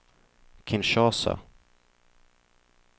Kinshasa